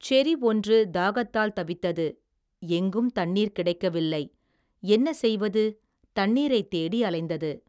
செரி ஒன்று தாகத்தால் தவித்தது எங்கும் தண்ணீர் கிடைக்கவில்லை என்ன செய்வது தண்ணீரைத் தேடி அலைந்தது.